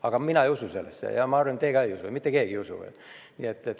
Aga mina ei usu sellesse ja ma arvan, et ka teie ei usu, mitte keegi ei usu.